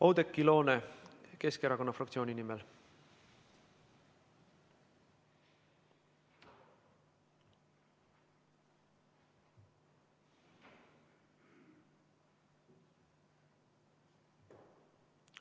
Oudekki Loone Keskerakonna fraktsiooni nimel.